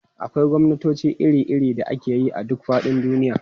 Akwai gwamnatoci iri-iri da ake yi a duk faɗin duniya.